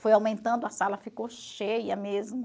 Foi aumentando, a sala ficou cheia mesmo.